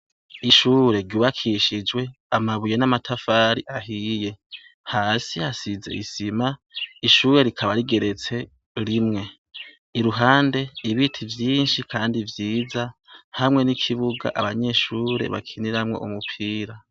Ishure ryubakishijwe amabuye n'amatafari ahiye. Hasi hasize isima, ishure rikaba rigeretse rimwe. Iruhande ibiti vyinshi kandi vyiza hamwe n'ikibuga abanyeshure bakiniramwo umupira.